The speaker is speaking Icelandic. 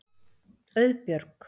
Auðbjörg